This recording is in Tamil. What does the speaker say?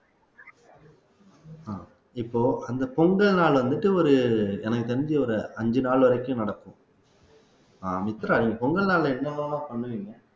இப்போ அந்த பொங்கல் நாள் வந்துட்டு ஒரு எனக்கு தெரிஞ்சு ஒரு அஞ்சு நாள் வரைக்கும் நடக்கும் அஹ் மித்ரா நீங்க பொங்கல் நாள்ல என்னவெல்லாம் பண்ணுவீங்க